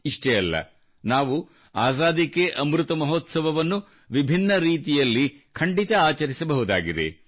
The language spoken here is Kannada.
ಇಷ್ಟೇ ಅಲ್ಲ ನಾವು ಅಜಾದಿ ಕೆ ಅಮೃತ್ ಮಹೋತ್ಸವವನ್ನು ವಿಭಿನ್ನ ರೀತಿಯಲ್ಲಿ ಖಂಡಿತ ಆಚರಿಸಬಹುದಾಗಿದೆ